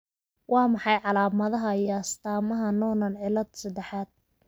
Waa maxay calaamadaha iyo astaamaha Noonan cillad sedexaad?